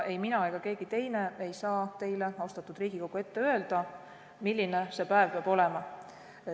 Ei mina ega keegi teine saa teile, austatud Riigikogu, ette öelda, milline see päev peab olema.